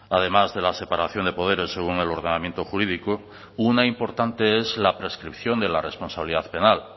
además de la separación de poderes según el ordenamiento jurídico una importante es la prescripción de la responsabilidad penal